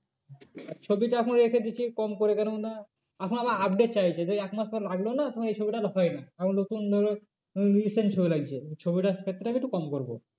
ছবিটা এখন রেখে দিচ্ছি কম করে কেন না, এখন আবার update চাইছে । সেই এক মাস পর লাগলে না তখন এই ছবিটা আর হয় না আবার নতুন ধরো recent ছবি লাগছে। ছবিটার ক্ষেত্রে আমি একটু কম করবো।